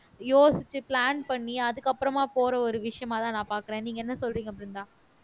யோசிச்சு plan பண்ணி அதுக்கப்புறமா போற ஒரு விஷயமாதான் நான் பார்க்கிறேன் நீங்க என்ன சொல்றீங்க பிருந்தா